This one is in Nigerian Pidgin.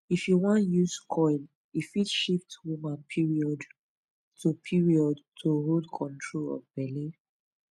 if u wan use coil e fit shift woman period to period to hold control of belle